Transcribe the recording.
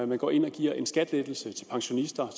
man går ind og giver en skattelettelse til pensionister